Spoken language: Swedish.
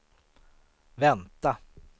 vänta